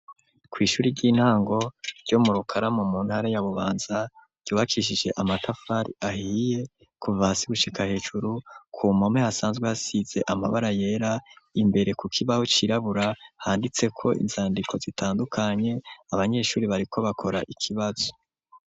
Kw'ishuri ry'intango ryo mu rukaramo muntara ya bubanza ryubakishije amatafari ahiye kuva si gushika hejuru ku mpome hasanzwe hasize amabara yera imbere ku kibaho cirabura handitse ko inzandiko zitandukanye abanyeshuri bariko bakora ikibazo.